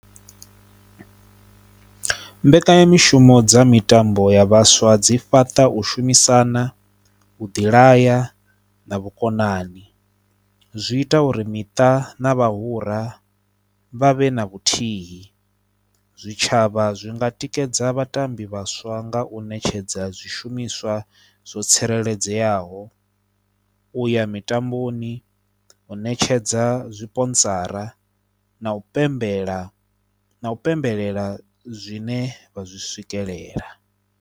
Mbekanyamushumo dza mitambo ya vhaswa dzi fhaṱa u shumisana u ḓilaya na vhukonani, zwi ita uri miṱa na vhahura vha vhe na vhuthihi, zwitshavha zwi nga tikedza vhatambi vhaswa nga u ṋetshedza zwishumiswa zwo tsireledzeaho, u ya mitamboni, u ṋetshedza zwi sponsora na u pembela na u pembelela zwine vha zwi swikelela.